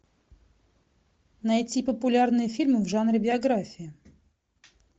найти популярные фильмы в жанре биография